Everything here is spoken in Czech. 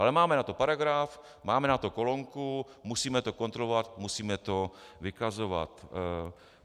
Ale máme na to paragraf, máme na to kolonku, musíme to kontrolovat, musíme to vykazovat.